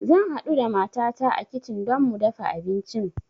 Zan haɗu da matata a kitchen don mu dafa abincin